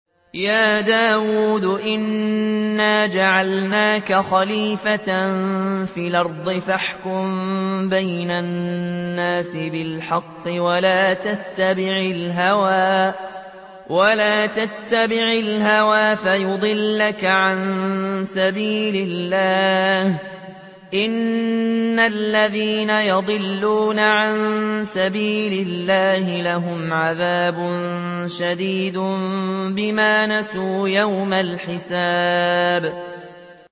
يَا دَاوُودُ إِنَّا جَعَلْنَاكَ خَلِيفَةً فِي الْأَرْضِ فَاحْكُم بَيْنَ النَّاسِ بِالْحَقِّ وَلَا تَتَّبِعِ الْهَوَىٰ فَيُضِلَّكَ عَن سَبِيلِ اللَّهِ ۚ إِنَّ الَّذِينَ يَضِلُّونَ عَن سَبِيلِ اللَّهِ لَهُمْ عَذَابٌ شَدِيدٌ بِمَا نَسُوا يَوْمَ الْحِسَابِ